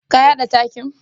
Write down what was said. Ka yada takin?